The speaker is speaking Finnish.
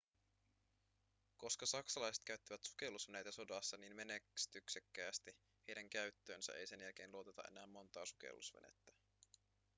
koska saksalaiset käyttivät sukellusveneitä sodassa niin menestyksekkäästi heidän käyttöönsä ei sen jälkeen luoteta enää montaa sukellusvenettä